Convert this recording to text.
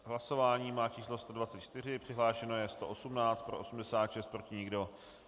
Hlasování má číslo 124, přihlášeno je 118, pro 86, proti nikdo.